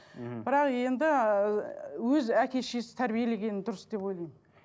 мхм бірақ енді ыыы өз әке шешесі тәрбиелегені дұрыс деп ойлаймын